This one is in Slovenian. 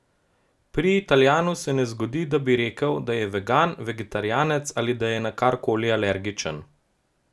Pri Italijanu se ne zgodi, da bi rekel, da je vegan, vegetarijanec ali da je na kar koli alergičen.